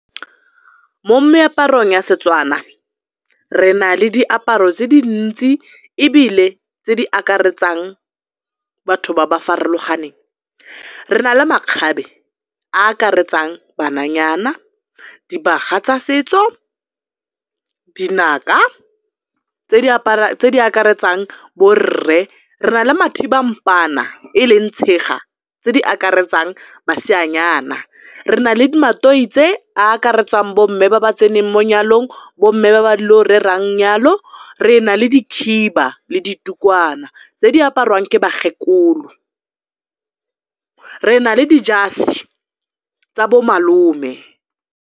Mo meaparong ya Setswana re na le diaparo se di ntsi ebile tse di akaretsang batho ba ba farologaneng. Re na le makgabe a a akaretsang bananyana, dibaga tsa setso, dinaka tse di akaretsang borre. Re na le mathibampaana e leng tshega tse di akaretsang maseanyana, re na le a a akaretsang bomme ba ba tseneng mo nyalong, bomme ba ba ile go rerang 'nyalo, re na le dikhiba le ditukwana tse di apariwang ke bakgegkolo, re na le dijase tsa bo malome.